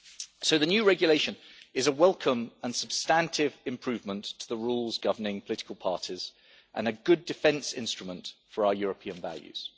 So the new regulation is a welcome and substantive improvement to the rules governing political parties and a good defence instrument for our European values.